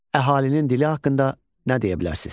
Əhalinin dili haqqında nə deyə bilərsiz?